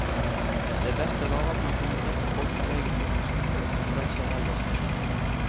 De beste var at man kunne treffe folk fra egen yrkesgruppe på tvers av aldersforskjellen.